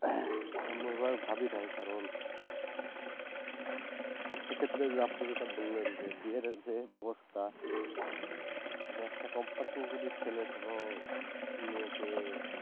এমনভাবে ভাবিনাই কারণ একটা ক্ষেত্রে যে আপনি যেটা বললেন যে বিয়ের যে বেবস্থা যে একটা company র যদি ছেলে কোনো মেয়েকে